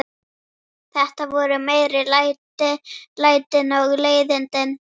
Þetta voru meiri lætin og leiðindin.